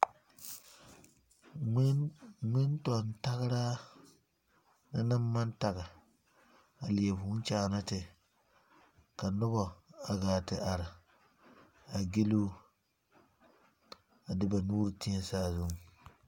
Ŋmentɔŋ tageraa na naŋ maŋ tage a eɛ vũũ kyaana te ka naoba gaa te are gilu o. a de ba nuuri teɛ saazuŋ.